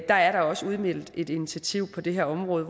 er der også udmeldt et initiativ på det her område